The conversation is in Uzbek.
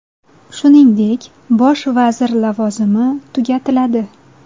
Shuningdek, bosh vazir lavozimi tugatiladi.